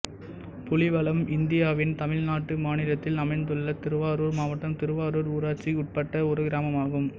புலிவலம் இந்தியாவின் தமிழ்நாடு மாநிலத்தில் அமைந்துள்ள திருவாரூர் மாவட்டம் திருவாரூர் ஊராட்சிக்கு உட்பட்ட ஒரு கிராமம் ஆகும்